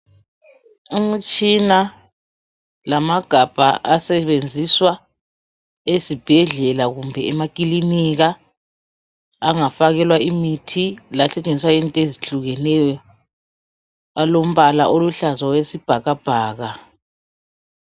Umtshina lamagabha asebenziswa ezibhedlela kumbe emakilinika angafakelwa imithi lasetshenziswa into ezihlukeneyo alombala oluhlaza okwesibhakabhaka.